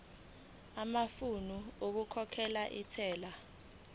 amafomu okukhokhela intela